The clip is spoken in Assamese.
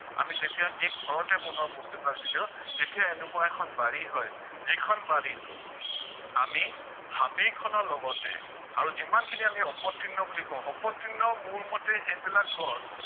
আমি যেতিয়া এই ঘৰতে বনোৱা বস্তুবিলাক দি দিও তেতিয়া এনেকুৱা এখন বাৰী হয় যিখন বাৰীত আমি হাবি এখনৰ লগতে আৰু যিমানখিনি আমি অপতৃণ বুলি কও, অপতৃণ মোৰ মতে সেইবিলাক গছ